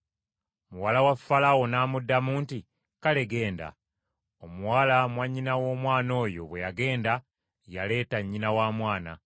Muwala wa Falaawo n’amuddamu nti, “Kale, genda.” Omuwala mwannyina w’omwana oyo bwe yagenda, yaleeta nnyina wa mwana!